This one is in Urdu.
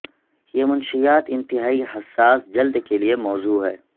یہ منشیات انتہائی حساس جلد کے لئے موزوں ہے